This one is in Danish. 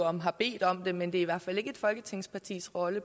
om har bedt om det men det er i hvert fald ikke et folketingspartis rolle